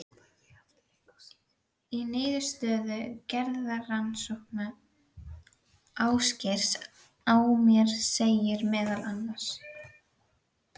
Í niðurstöðu geðrannsóknar Ásgeirs á mér segir meðal annars